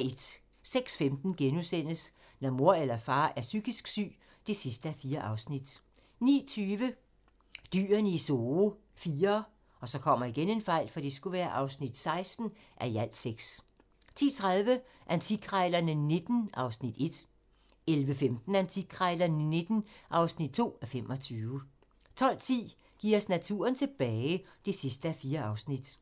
06:15: Når mor eller far er psykisk syg (4:4)* 09:20: Dyrene i Zoo IV (16:6) 10:30: Antikkrejlerne XIX (1:25) 11:15: Antikkrejlerne XIX (2:25) 12:10: Giv os naturen tilbage (4:4)